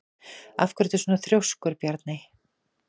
Af hverju ertu svona þrjóskur, Bjarney?